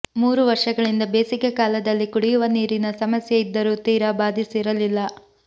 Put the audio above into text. ಮೂರು ವರ್ಷಗಳಿಂದ ಬೇಸಿಗೆ ಕಾಲದಲ್ಲಿ ಕುಡಿಯುವ ನೀರಿನ ಸಮಸ್ಯೆ ಇದ್ದರೂ ತೀರಾ ಬಾಧಿಸಿರಲಿಲ್ಲ